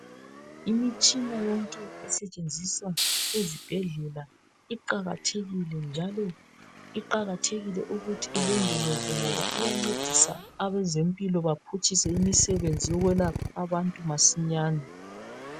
Imitshina yonke esetshenziswa ezibhedlela iqakathekile njalo iqakathekile ukuthi ilondolozwe ngoba iyancedisa abezempilo baphutshise imsebenzi yokwelapha abantu masinyane.